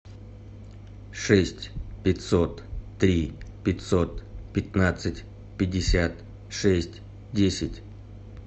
шесть пятьсот три пятьсот пятнадцать пятьдесят шесть десять